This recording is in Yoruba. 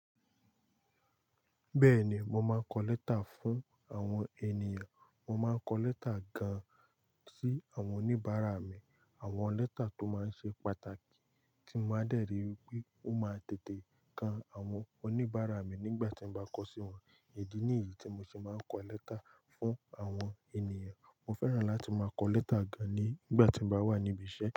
Bẹ́ẹ̀ni, mo máa ń kọ lẹ́tà fún àwọn ènìyàn. Mo máa ń kọ lẹ́tà gan-an sí àwọn oníbàárà mi. Àwọn lẹ́tà tó máa ń ṣe pàtàkì tí mo máa dẹ̀rí wípé ó máa tètè kan àwọn oníbàárà mi nígbà tí mo bá kọ sí wọn. Èyí ni èyí tí mo ṣe máa ń kọ lẹ́tà fún àwọn ènìyàn. Mo fẹ́ràn láti máa kọ lẹ́tà gan-an nígbà tí mo bá wà níbi iṣẹ́.